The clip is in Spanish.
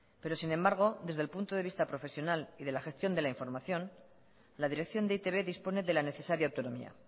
pero sin embargo desde el punto de vista profesional y de la gestión de la información la dirección de e i te be dispone de la necesaria autonomía